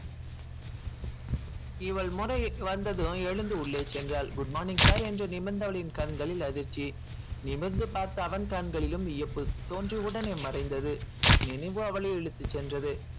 இவள் முறை வந்ததும் எழுந்து உள்ளே சென்றாள் good morning sir என்று நிமிர்ந்தவளின் கண்களில் அதிர்ச்சி நிமிர்ந்து பார்த்த அவன் கண்களிலும் வியப்பு தோன்றிய உடனே மறைந்தது நினைவு அவளை இழுத்துச் சென்றது